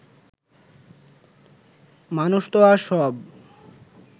মানুষতো আর সব